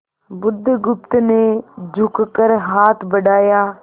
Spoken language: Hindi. बुधगुप्त ने झुककर हाथ बढ़ाया